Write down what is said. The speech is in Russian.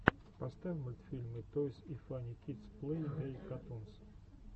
поставь мультфильмы тойс и фанни кидс плей дей катунс